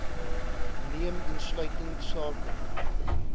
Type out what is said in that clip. neem insluitend sake